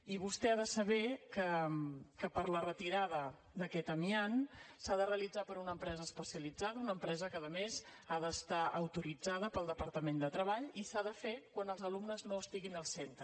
i vostè ha de saber que per a la retirada d’aquest amiant s’ha de realitzar per una empresa especialitzada una empresa que a més ha d’estar autoritzada pel departament de treball i s’ha de fer quan els alumnes no estiguin al centre